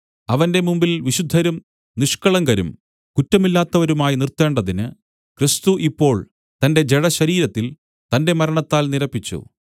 അവന്റെ മുമ്പിൽ വിശുദ്ധരും നിഷ്കളങ്കരും കുറ്റമില്ലാത്തവരുമായി നിർത്തേണ്ടതിന് ക്രിസ്തു ഇപ്പോൾ തന്റെ ജഡശരീരത്തിൽ തന്റെ മരണത്താൽ നിരപ്പിച്ചു